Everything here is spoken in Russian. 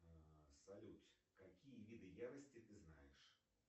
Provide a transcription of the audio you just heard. салют какие виды ярости ты знаешь